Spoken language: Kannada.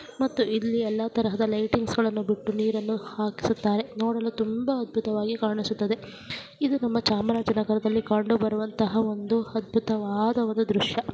ಮತ್ತು ಇಲ್ಲಿ ಎಲ್ಲ ತರಹದ ಲೈಟಿಂಗ್ಸ್ ಗಳನ್ನು ಬಿಟ್ಟು ನೀರನ್ನು ಹಾಕಿಸುತ್ತಾರೆ ನೋಡಲು ತುಂಬಾ ಅದ್ಭುತವಾಗಿ ಕಾಣಿಸುತ್ತದೆ ಇದು ನಮ್ಮ ಚಾಮರಾಜನಗರದಲ್ಲಿ ಕಂಡುಬರುವಂತಹ ಒಂದು ಅದ್ಭುತವಾದ ಒಂದು ದೃಶ್ಯ .